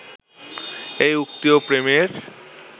এই ভক্তি ও প্রেমের